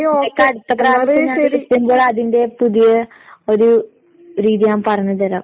നിനക്ക് അടുത്ത പ്രാവശ്യം ഞാൻ വിളിക്കുമ്പോ അതിന്റെ പുതിയ ഒരു രീതി ഞാൻ പറഞ്ഞ് തരാം.